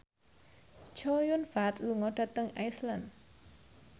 Chow Yun Fat lunga dhateng Iceland